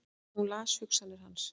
Hún las hugsanir hans!